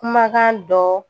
Kumakan dɔ.